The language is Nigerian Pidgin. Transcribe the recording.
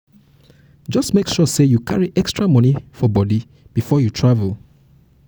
just make sure say you carry extra money for body before you travel